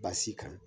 Baasi kan